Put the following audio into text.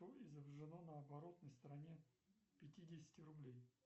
что изображено на оборотной стороне пятидесяти рублей